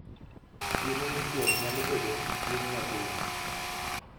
Chiemo mochiek nyalo bedo chiemo mapile